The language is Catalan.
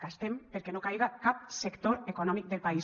gastem perquè no caiga cap sector econòmic del país